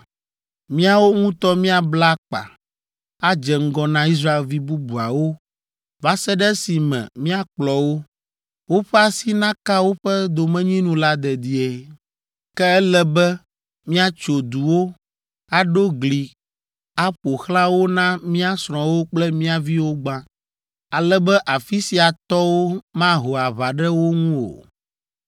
Míawo ŋutɔ míabla akpa, adze ŋgɔ na Israelvi bubuawo va se ɖe esime míakplɔ wo, woƒe asi naka woƒe domenyinu la dedie. Ke ele be míatso duwo, aɖo gli aƒo xlã wo na mía srɔ̃wo kple mía viwo gbã, ale be afi sia tɔwo maho aʋa ɖe wo ŋu o.